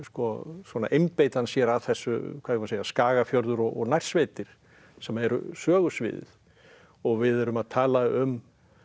svona einbeiti hann sér að þessu hvað eigum segja Skagafjörður og nærsveitir sem eru sögusviðið og við erum að tala um